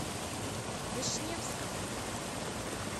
вишневскому